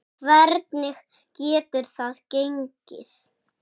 Hvernig getur það gengi?